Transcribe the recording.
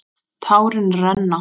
Tárin renna.